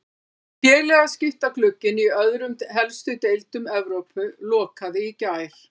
Félagaskiptaglugginn í öðrum helstu deildum Evrópu lokaði í gær.